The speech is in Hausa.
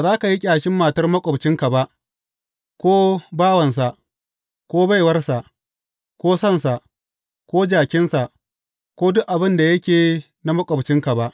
Ba za ka yi ƙyashin matar maƙwabcinka ba, ko bawansa, ko baiwarsa, ko sansa, ko jakinsa, ko duk abin da yake na maƙwabcinka ba.